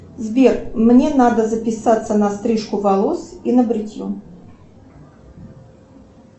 сбер мне надо записаться на стрижку волос и на бритье